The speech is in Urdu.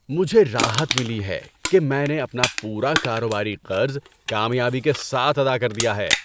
مجھے راحت ملی ہے کہ میں نے اپنا پورا کاروباری قرض کامیابی کے ساتھ ادا کر دیا ہے۔